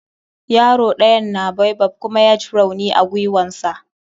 Yaro ɗayan na baobab kuma ya j rauni a giwan sa.